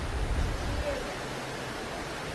терек